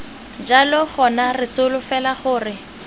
jalo gona re solofela gore